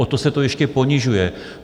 O to se to ještě ponižuje.